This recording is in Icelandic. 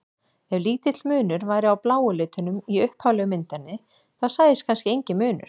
Ef lítill munur væri á bláu litunum í upphaflegu myndinni þá sæist kannski enginn munur.